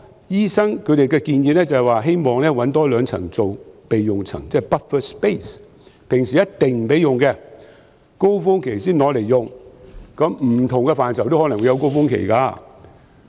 醫生的建議是希望多找兩個樓層作為備用樓層，即 buffer space， 平時不可使用，在高峰期才可使用，因為不同範疇也可能會有高峰期。